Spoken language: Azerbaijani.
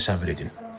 Təsəvvür edin.